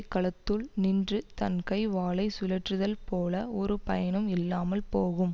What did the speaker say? களத்துள் நின்று தன் கை வாளை சுழற்றுதல் போல ஒரு பயனும் இல்லாமல் போகும்